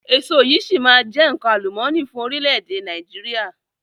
Èso yìí si maa jẹ nkan àlùmọ́ọ́nì fún orílẹ̀ èdè Nàìjíríà